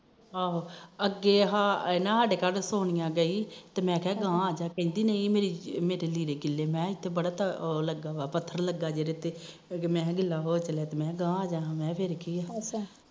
ਆਹੋ ਅੱਗੇ ਆਹ ਸਾਡੇ ਘਰ ਸੋਨੀਆਂ ਗਈ ਤੇ ਮੈ ਕਿਹਾ ਗਾਹਾ ਆਜਾ ਤੇ ਕਹਿੰਦੀ ਨਹੀ ਮੇਰੇ ਲੀੜੇ ਬੜੇ ਗੀਲੇ ਮੈ ਕਿਹਾ ਇਥੇ ਬੜਾ ਉਹ ਲੱਗਾ ਪੱਥਰ ਲੱਗਾ ਮੈ ਗਿਲਾ ਹੋ ਜਾਣਾ ਮੈ ਗਾਹਾ ਆਹਾ ਹੋਰ ਕੀਏ ਅੱਛਾ